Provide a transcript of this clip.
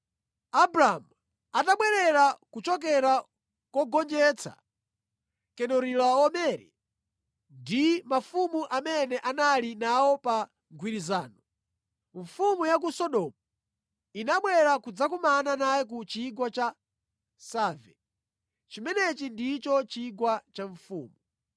Abramu atabwerera kuchokera kogonjetsa Kedorilaomere ndi mafumu amene anali nawo pa mgwirizano, mfumu ya ku Sodomu inabwera kudzakumana naye ku Chigwa cha Save (chimenechi ndicho Chigwa cha Mfumu).